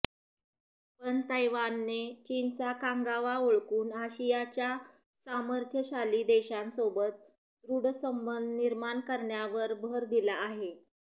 पण तैवानने चीनचा कांगावा ओळखून आशियाच्या सामर्थ्यशाली देशांसोबत दृढ संबंध निर्माण करण्यावर भर दिला आहे